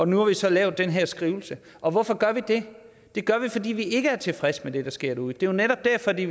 nu har vi så lavet den her skrivelse og hvorfor gør vi det det gør vi fordi vi ikke er tilfredse med det der sker derude det jo netop derfor vi